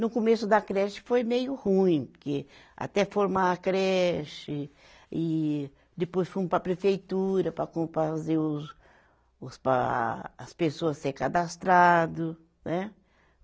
No começo da creche foi meio ruim, porque até formar a creche e depois fomos para a prefeitura para com, para fazer os, os pa, as pessoa ser cadastrado. Né